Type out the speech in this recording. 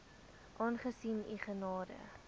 aangesien u gade